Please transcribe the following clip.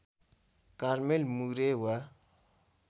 Carmel Moore वा